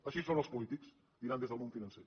així són els polítics diran des del món financer